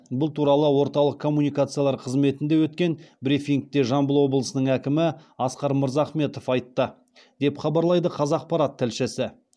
бұл туралы орталық коммуникациялар қызметінде өткен брифингте жамбыл облысының әкімі асқар мырзахметов айтты деп хабарлайды қазақпарат тілшісі